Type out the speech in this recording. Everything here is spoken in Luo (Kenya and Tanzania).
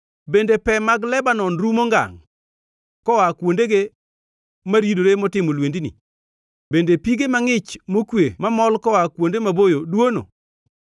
Bende pe mag Lebanon rumo ngangʼ koa kuondege maridore motimo lwendni? Bende pige mangʼich mokwe mamol, koa kuonde maboyo dwono?